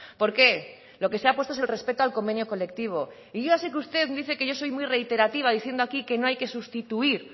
por qué lo que se ha puesto es el respeto al convenio colectivo y yo ya sé que usted dice que yo soy muy reiterativa diciendo aquí que no hay que sustituir